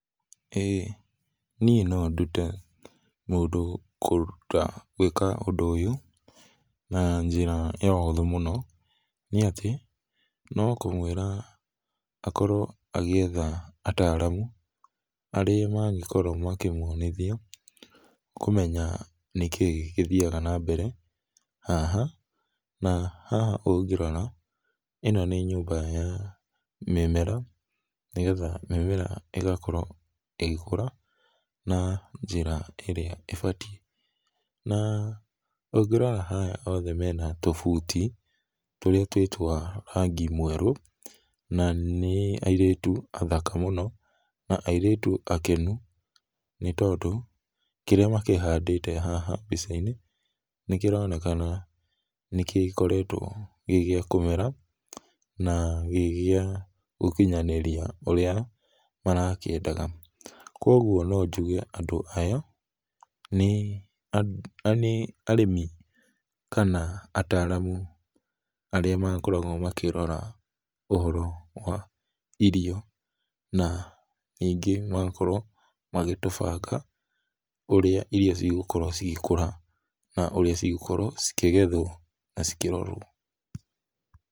Ĩĩ, niĩ no ndute mũndũ kũruta gwĩka ũndũ ũyũ na njĩra ya ũhũthũ mũno, nĩatĩ no mũkwĩra akorwo agĩetha ataaramu arĩa mangĩkorwo makkĩmuonithia kũmenya nĩkĩĩ gĩthiaga na mbere haha, na haha ũngĩrora ĩno nĩ nyũmba ya mĩmera nĩgetha mĩmera ĩgakorwo ĩgĩkũra na njĩra ĩrĩa ĩbatiĩ. Na, ũngĩrora haha othe mena tũbuti tũrĩa twĩ twa rangi mwerũ na nĩ airĩtu athaka mũno, na airĩtu akenu nĩtondũ kĩrĩa makĩhandĩte haha mbica-inĩ nĩkĩronekana nĩkĩoretwo gĩ gĩa kũmera na gĩ gĩa gũkinyanĩria ũrĩa marakĩendaga, kuoguo no njuge andũ aya nĩ arĩmi kana ataaramu arĩa makoragwo makĩrora ũhoro wa irio na ningĩ magakorwo magĩtũbanga ũrĩa irio cigũkorwo cigĩkũra na ũrĩa cigũkorwo cikĩgethwo na cikĩrorwo.